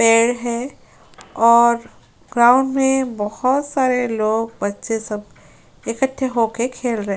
पेड़ है और ग्राउंड में बहोत सारे लोग बच्चे सब इकट्ठे होके खेल रहे है।